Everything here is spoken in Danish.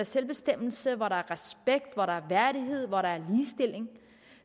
selvbestemmelse hvor der er respekt hvor der er værdighed hvor der